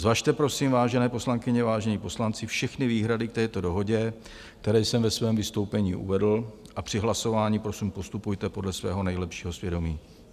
Zvažte prosím, vážené poslankyně, vážení poslanci, všechny výhrady k této dohodě, které jsem ve svém vystoupení uvedl, a při hlasování prosím postupujte podle svého nejlepšího svědomí.